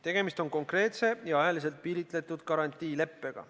Tegemist on konkreetse ja ajaliselt piiritletud garantiileppega.